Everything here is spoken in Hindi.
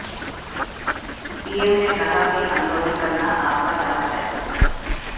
पीएम ने कहा कि आंदोलन करना आपका हक है